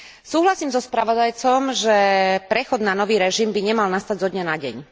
Súhlasím so spravodajcom, že prechod na nový režim by nemal nastať zo dňa na deň.